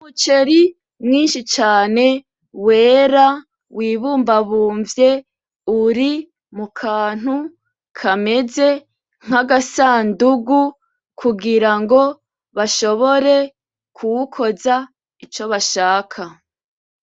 Umuceri mwinshi cane wera wibumbabumvye, uri mu kantu kameze nk'agasandugu, kugirango bashobore kuwukoza ico bashaka.